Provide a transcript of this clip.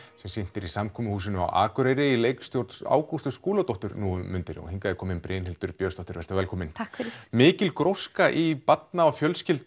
sem sýndur er í samkomuhúsinu á Akureyri í leikstjórn Ágústu Skúladóttur nú um mundir og hingað er komin Brynhildur Björnsdóttir vertu velkomin takk fyrir mikil gróska í barna og